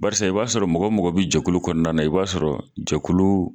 Barisa i b'a sɔrɔ mɔgɔ mɔgɔ bɛ jɛkulu kɔnɔna na i b'a sɔrɔ jɛkulu